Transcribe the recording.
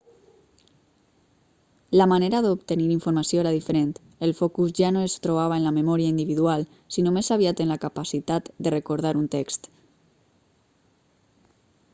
la manera d'obtenir informació era diferent el focus ja no es trobava en la memòria individual sinó més aviat en la capacitat de recordar un text